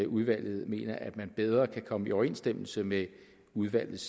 udvalget mener at man bedre kan komme i overensstemmelse med udvalgets